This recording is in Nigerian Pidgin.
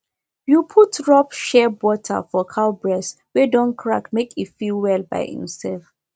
you put rub shea butter for cow breast wey don crack make e fit well by inself